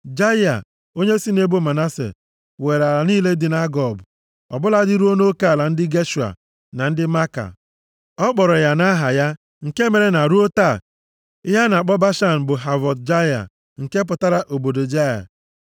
Jaịa, onye si nʼebo Manase, were ala niile dị nʼAgob, ọ bụladị ruo nʼoke ala ndị Geshua na ndị Maaka. Ọ kpọrọ ya nʼaha ya, nke mere na ruo taa ihe a na-akpọ Bashan bụ Havọt Jaịa, nke pụtara, obodo Jaịa.